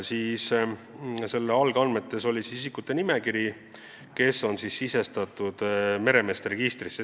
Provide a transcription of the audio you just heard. Algandmed sisaldasid nende isikute nimekirja, kes on sisestatud meremeeste registrisse.